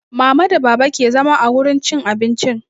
Mama da baba ke zama a wurin cin abincin